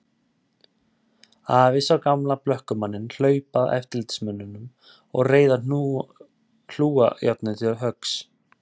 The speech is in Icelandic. Afi sá gamla blökkumanninn hlaupa að eftirlitsmönnunum og reiða hlújárnið til höggs.